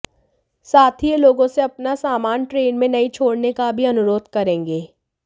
साथ ही ये लोगों से अपना सामान ट्रेन में नहीं छोड़ने का भी अनुरोध करेंगे